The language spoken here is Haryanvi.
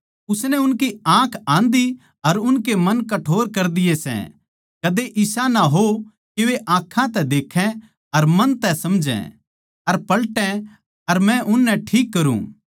उसनै उनकी आँख आंधी अर उनके मन कठोर कर दिए सै कदे इसा ना हो के वे आँखां तै देक्खै अर मन तै समझै अर पलटै अर मै उननै ठीक करुँ